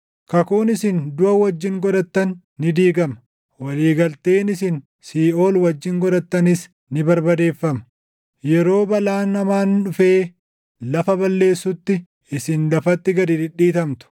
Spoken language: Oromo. Kakuun isin duʼa wajjin godhattan ni diigama; walii galteen isin siiʼool wajjin godhattanis // ni barbadeeffama. Yeroo balaan hamaan dhufee lafa balleessutti isin lafatti gad dhidhiitamtu.